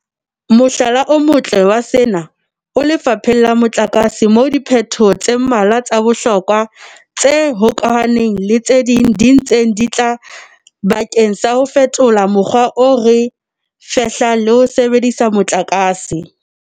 Mohlala o motle wa sena o lefapheng la motlakase moo diphetoho tse mmalwa tsa bohlokwa tse hokahaneng le tse ding di ntseng di tla bakeng sa ho fetola mokgwa o re fehlang le ho sebedisa motlakase.